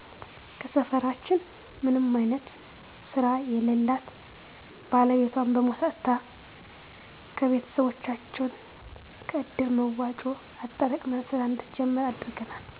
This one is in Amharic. ከሰፈራችን ምንም አይነት ስራ የለላት ባለቤቷን በሞት አጥታ ከቤቶሰቦቻችን ከእድር መዋጮ አጠራቅመን ስራ እንድትጀምር አድርገናል